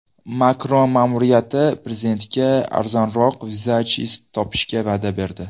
Makron ma’muriyati prezidentga arzonroq vizajist topishga va’da berdi.